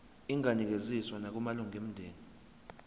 inganikezswa nakumalunga omndeni